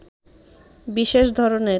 বিশেষ ধরনের